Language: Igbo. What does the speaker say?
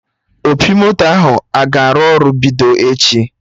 Opi moto ahụ a ga-arụ ọrụ bido echi?